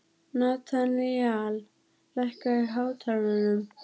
Natanael, lækkaðu í hátalaranum.